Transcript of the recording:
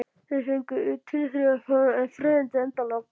Þær fengu tilþrifalítil en freyðandi endalok.